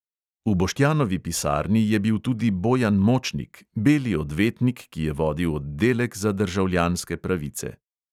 V boštjanovi pisarni je bil tudi bojan močnik, beli odvetnik, ki je vodil oddelek za državljanske pravice.